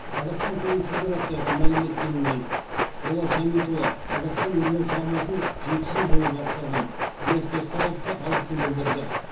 қазақстан теннис федерациясы мәлім еткеніндей болат жамитұлы қазақстан ерлер құрамасын жеті жыл бойы басқарған диас досқараевқа алғысын білдірді